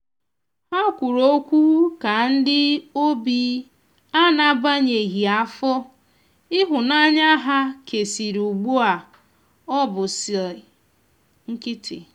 ha kwụrụ ọkwụ ka ndi ọbian'agbanyeghi afọ ihunanya ha kesịrị ugbu a ọbụ si nkitị